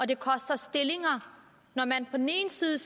det koster stillinger når man på den ene side